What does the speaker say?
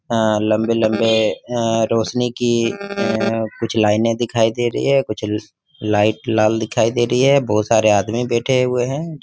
अ लंबे लंबे अ रोशनी की अ कुछ लाइने दिखाई दे रही है कुछ लाइट लाल दिखाई दे रही है बहुत सारे आदमी बैठे हुए है।